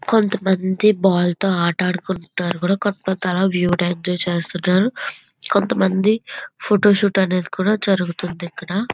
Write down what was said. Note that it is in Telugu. కొంతమంది బల్ తో ఆట ఆడుకుంటున్నారు కూడా. కొంతమంది అలా వ్యూ ఎంజాయ్ చేస్తున్నారు. కొంతమంది ఫోటోషూట్ అనేది కూడా జరుగుతుంది ఇక్కడ.